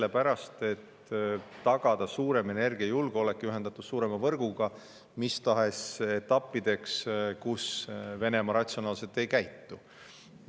Sellepärast, et tagada suurem energiajulgeolek ja ühendatus suurema võrguga mis tahes etappideks, kus Venemaa ratsionaalselt ei käitu.